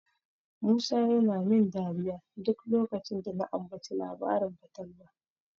Musa yana min dariya duk lokacin da na ambaci labarin fatalwa.